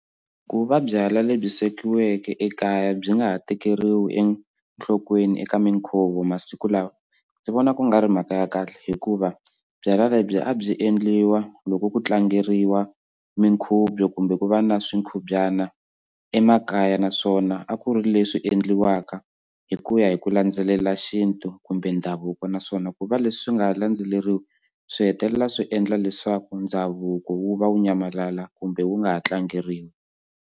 Ku va byalwa lebyi swekiweke ekaya byi nga ha tekeriwi enhlokweni eka minkhuvo masiku lawa ndzi vona ku nga ri mhaka ya kahle hikuva byalwa lebyi a byi endliwa loko ku tlangeriwa mikhubyo kumbe ku va na xikhubyana emakaya naswona a ku ri leswi endliwaka hi ku ya hi ku landzelela xintu kumbe ndhavuko naswona ku va leswi swi nga ha landzeleriwi swi hetelela swi endla leswaku ndhavuko wu va wu nyamalala kumbe wu nga ha tlangeriwi.